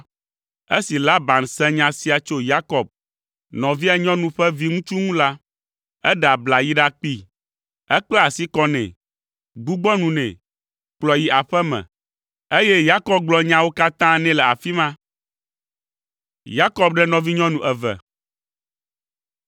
Esi Laban se nya sia tso Yakob, nɔvia nyɔnu ƒe viŋutsu ŋu la, eɖe abla yi ɖakpee. Ekpla asi kɔ nɛ, gbugbɔ nu nɛ, kplɔe yi aƒe me, eye Yakob gblɔ nyawo katã nɛ le afi ma.